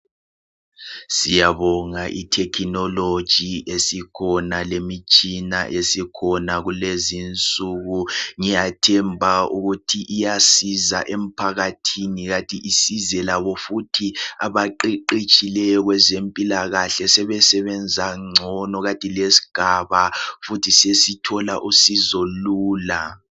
Siyabonga i technology esikhona lemitshina esikhona kulezi insuku ngiyathemba ukuthi iyasiza ephakathini kanti isize labo futhi abaqeqetshileyo kwezempila kahle sebe sebenza ngcono kanti lesigaba futhi sesithola usizo lula.